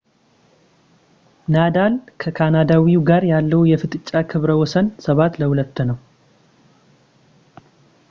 ናዳል ከካናዳዊው ጋር ያለው የፍጥጫ ክብረ ወሰን 7-2 ነው